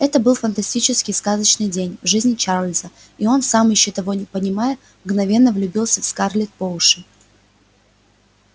это был фантастический сказочный день в жизни чарлза и он сам ещё того не понимая мгновенно влюбился в скарлетт по уши